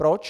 Proč?